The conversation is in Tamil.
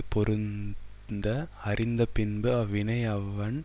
பொருந்த அறிந்து பின்பு அவ்வினை அவன்